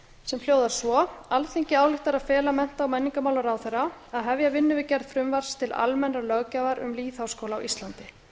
sem hljóðar svo alþingi ályktar að fela mennta og menningarmálaráðherra að hefja vinnu við gerð frumvarps til almennrar löggjafar um lýðháskóla á íslandi